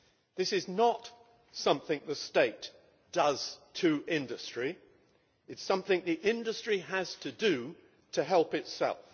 This is not something the state does to industry, it is something the industry has to do to help itself.